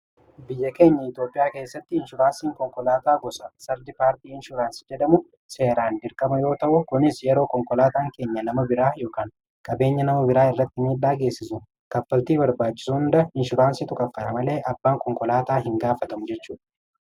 biyya keenya iitoophiyaa keessatti inshuraansiin konkolaataa gosa sardi paartii inshuraansi jedhamu seeraan dirkama yoo ta'u kunis yeroo konkolaataan keenya nama biraa ykn qabeenya nama biraa irratti midhaa geessisu kapaltii barbaachisuuunda inshuraansii tukaffana malee abbaan konkolaataa hin gaafatamu jechu